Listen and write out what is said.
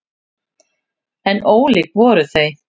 En ólík voru þau.